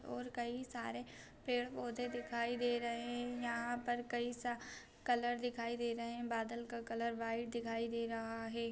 और कई सारे पेड़ पौधे दिखाई दे रहै हैं | यहाँ पर कई सा कलर दिखाई दे रहे हैं । बादल का कलर व्हाइट दिखाई दे रहा है ।